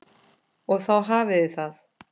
Og þá hafiði það!